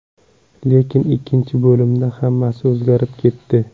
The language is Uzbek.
Lekin ikkinchi bo‘limda hammasi o‘zgarib ketdi.